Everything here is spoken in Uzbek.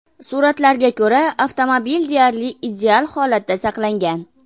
Suratlarga ko‘ra, avtomobil deyarli ideal holatda saqlangan.